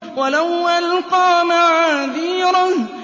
وَلَوْ أَلْقَىٰ مَعَاذِيرَهُ